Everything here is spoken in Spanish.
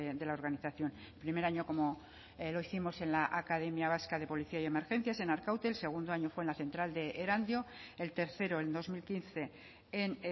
de la organización primer año como lo hicimos en la academia vasca de policía y emergencias en arkaute el segundo año fue en la central de erandio el tercero en dos mil quince en